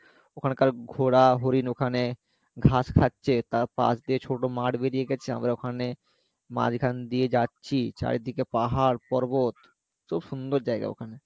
ওখানকার ঘোড়া হরিণ ওখানে ঘাস খাচ্ছে তার পাশ দিয়ে ছোটো মাঠ বেরিয়ে গেছে আমরা ওখানে মাঝখান দিয়ে যাচ্ছি চারিদিকে পাহাড় পর্বত খুব সুন্দর জায়গা ওখান